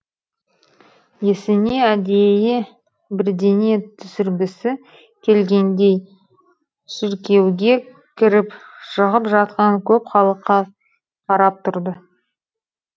есіне әдейі бірдеңе түсіргісі келгендей шіркеуге кіріп шығып жатқан көп халыққа қарап тұрды